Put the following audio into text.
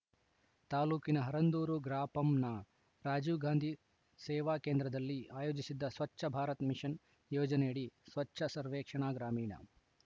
ತಾಲೂಕಿನ ಹರಂದೂರು ಗ್ರಾಪಂನ ರಾಜೀವ್‌ ಗಾಂಧಿ ಸೇವಾ ಕೇಂದ್ರದಲ್ಲಿ ಆಯೋಜಿಸಿದ್ದ ಸ್ವಚ್ಛ ಭಾರತ್‌ ಮಿಷನ್‌ ಯೋಜನೆಯಡಿ ಸ್ವಚ್ಛ ಸರ್ವೆಕ್ಷಣಾ ಗ್ರಾಮೀಣ